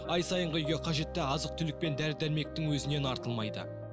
ай сайынғы үйге қажетті азық түлік пен дәрі дәрмектің өзінен артылмайды